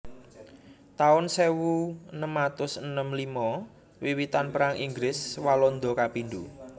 taun sewu enem atus enem limo Wiwitan Perang Inggris Walanda kapindho